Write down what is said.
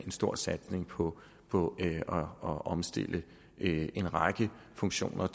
stor satsning på på at omstille en række funktioner